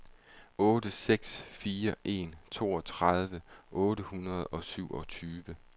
otte seks fire en toogtredive otte hundrede og syvogtyve